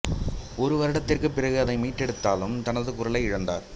ஒரு வருடத்திற்குப் பிறகு அதை மீட்டெடுத்தாலும் தனது குரலை இழந்தார்